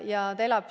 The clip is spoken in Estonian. Jaa!